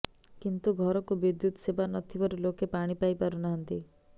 କିନ୍ତୁ ଘରକୁ ବିଦ୍ୟୁତ ସେବା ନଥିବାରୁ ଲୋକେ ପାଣି ପାଇ ପାରୁ ନାହାନ୍ତି